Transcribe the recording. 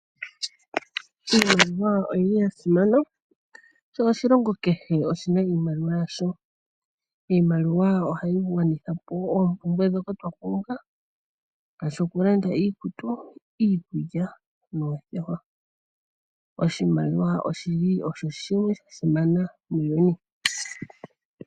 Iimaliwa oyili ya simana sho oshilongo kehe oshina iimaliwa yasho. Iimaliwa ohayi gwanithapo oompumbwe ndhoka twa pumbwa ngaashi okulanda iikutu, iikulya noothewa. Oshimaliwa oshili osho shimwe sha simana muuyuni.